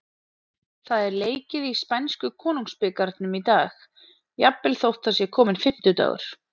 Það er leikið í spænsku Konungsbikarnum í dag, jafnvel þótt það sé kominn fimmtudagur.